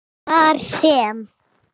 Þar sem